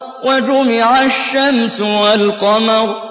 وَجُمِعَ الشَّمْسُ وَالْقَمَرُ